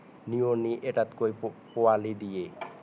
নিয়মি এটাকৈ পোৱালি দিয়ে